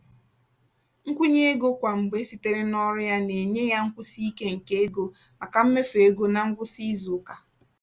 nkwụnye ego kwa mgbe sitere n'ọrụ ya na-enye ya nkwụsi ike nke ego maka mmefu ego ná ngwụsị izuụka.